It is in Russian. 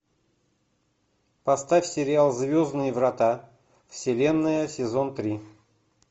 поставь сериал звездные врата вселенная сезон три